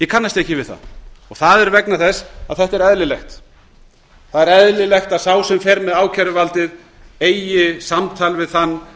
kannast ekki við það það er vegna þess að þetta er eðlilegt það er eðlilegt að sá sem fer með ákæruvaldið eigi samtal við þann